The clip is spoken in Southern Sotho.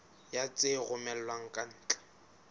ya tse romellwang ka ntle